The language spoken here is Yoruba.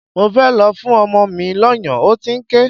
Mo fẹ́ lọ fún ọmọ mi lọ́yàn, ó ti ń ké.